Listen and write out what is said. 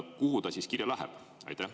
Kuhu ta siis kirja läheb?